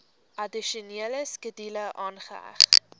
addisionele skedule aangeheg